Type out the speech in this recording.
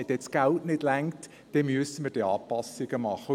Wenn das Geld nicht reichen sollte, müssten wir Anpassungen machen.